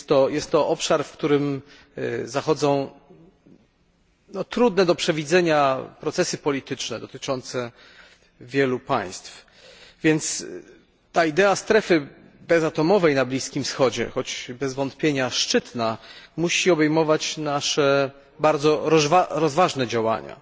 Jest to obszar, w którym zachodzą trudne do przewidzenia procesy polityczne dotyczące wielu państw, więc ta idea strefy bezatomowej na Bliskim Wschodzie choć bez wątpienia szczytna musi obejmować nasze bardzo rozważne działania,